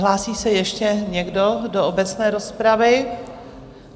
Hlásí se ještě někdo do obecné rozpravy?